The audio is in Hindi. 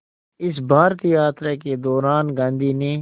इस भारत यात्रा के दौरान गांधी ने